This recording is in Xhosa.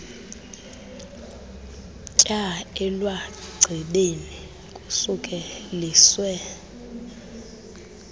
tyaa elwagcibeni kusukeliswe